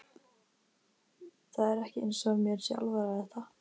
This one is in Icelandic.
Það er ekki eins og mér sé alvara er það?